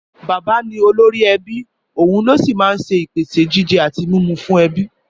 Bàbá ni òlóri ebí, ohún ló sí máa ń pèsè jíjé ati mìmú fùn ebí.